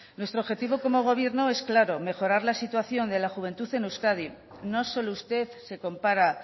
nuestro objetivo como gobierno es claro mejorar la situación de la juventud en euskadi no solo usted se compara